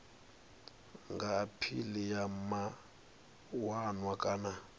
nga aphila kha mawanwa kana